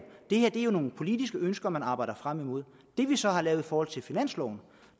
det her er jo nogle politiske ønsker man arbejder frem imod det vi så har lavet i forhold til finansloven